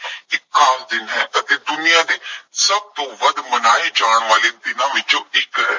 ਇੱਕ ਖਾਸ ਦਿਨ ਹੈ ਅਤੇ ਦੁਨੀਆ ਦੇ ਸਭ ਤੋਂ ਵੱਧ ਮਨਾਏ ਜਾਣ ਵਾਲੇ ਦਿਨਾਂ ਵਿੱਚੋਂ ਇੱਕ ਹੈ।